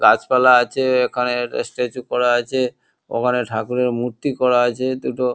গাছপালা আছে এখানে একটা স্ট্যাচু করা আছে ওখানে ঠাকুরের মূর্তি করা আছে দুটো।